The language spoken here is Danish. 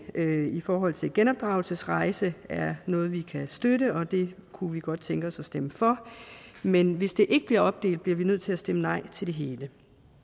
i forhold til genopdragelsesrejse er noget vi kan støtte og det kunne vi godt tænke os at stemme for men hvis ikke det bliver opdelt bliver vi nødt til at stemme nej til det hele